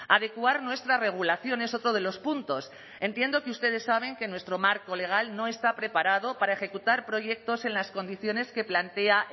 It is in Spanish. adecuar nuestra regulación es otro de los puntos entiendo que ustedes saben que nuestro marco legal no está preparado para ejecutar proyectos en las condiciones que plantea